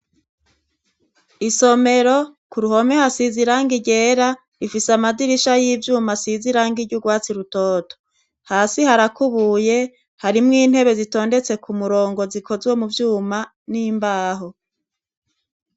Isomero ku ruhome hasize irangi ryera, ifise amadirisha y'ivyuma asize irangi ry'urwatsi rutoto. Hasi harakubuye harimwo intebe zitondetse ku murongo zikozwe mu vyuma n'imbaho.